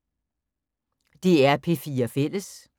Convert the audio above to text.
DR P4 Fælles